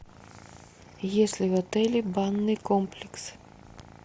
есть ли в отеле банный комплекс